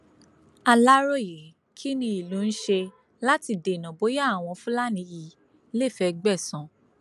aláròyé kí ni ìlú ń ṣe láti dènà bóyá àwọn fúlàní yìí lè fẹẹ gbẹsan